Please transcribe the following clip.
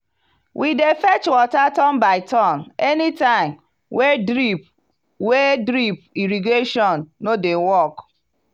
we dey fetch water turn by turn anytime wey drip wey drip irrigation no dey work.